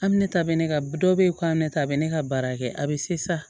A bɛ ne ta bɛ ne ka dɔ bɛ yen k'a bɛ ne ta bɛ ne ka baara kɛ a bɛ sisan